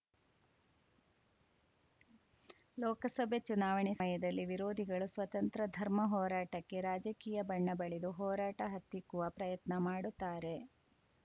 ಲೋಕಸಭೆ ಚುನಾವಣೆ ಸಮದಲ್ಲಿ ವಿರೋಧಿಗಳು ಸ್ವತಂತ್ರ ಧರ್ಮ ಹೋರಾಟಕ್ಕೆ ರಾಜಕೀಯ ಬಣ್ಣ ಬಳಿದು ಹೋರಾಟ ಹತ್ತಿಕ್ಕುವ ಪ್ರಯತ್ನ ಮಾಡುತ್ತಾರೆ